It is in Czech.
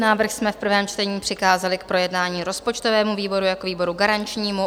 Návrh jsme v prvém čtení přikázali k projednání rozpočtovému výboru jako výboru garančnímu.